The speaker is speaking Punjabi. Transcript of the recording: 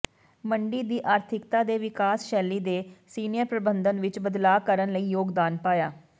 ਮੰਡੀ ਦੀ ਆਰਥਿਕਤਾ ਦੇ ਵਿਕਾਸ ਸ਼ੈਲੀ ਦੇ ਸੀਨੀਅਰ ਪ੍ਰਬੰਧਨ ਵਿਚ ਬਦਲਾਅ ਕਰਨ ਲਈ ਯੋਗਦਾਨ ਪਾਇਆ